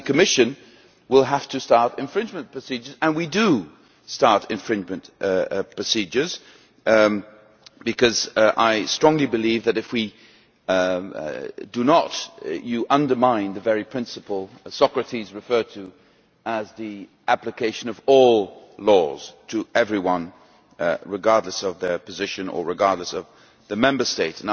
The Commission then has to start infringement procedures and we do start infringement procedures because I strongly believe that, if we do not, you undermine the very principle Socrates referred to, namely the application of all laws to everyone, regardless of their position, or regardless of the Member State.